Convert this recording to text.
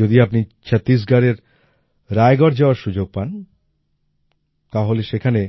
যদি আপনি ছত্রিশগড়ের রায়গর যাওয়ার সুযোগ পান তাহলে সেখানে